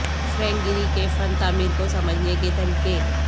Frank Gehry کی فن تعمیر کو سمجھنے کے طریقے